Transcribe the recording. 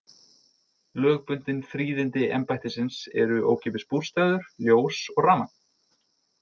Lögbundin fríðindi embættisins eru ókeypis bústaður, ljós og rafmagn.